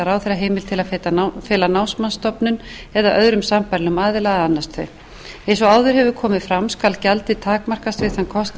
ráðherra heimild til að fela námsmatsstofnun eða öðrum sambærilegum aðila að annast þau eins og áður hefur komið fram skal gjaldið takmarkast við þann kostnað